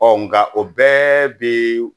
Ɔ nka o bɛɛ bɛ